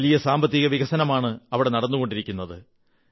വലിയ സാമ്പത്തിക വികസനമാണ് നടന്നുകൊ ണ്ടിരിക്കന്നത്